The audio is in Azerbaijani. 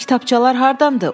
Bu kitabçalar hardandır?